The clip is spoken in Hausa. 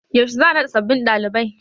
Yaushe za'a naɗa sabbin dalibai.